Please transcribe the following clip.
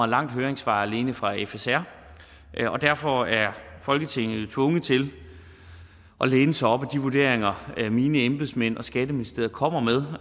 langt høringssvar alene fra fsr og derfor er folketinget tvunget til at læne sig op ad de vurderinger mine embedsmænd og skatteministeriet kommer med